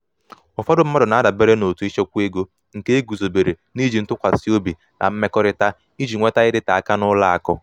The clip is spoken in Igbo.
ụfọdụ mmadụ na-adabere um n’òtù ịchekwa ego nke e guzobere n’iji um ntụkwasị obi na mmekọrịta iji nweta um ịdịte aka n’ụlọ akụ.